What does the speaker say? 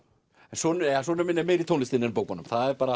sonur sonur minn er meira í tónlistinni en bókunum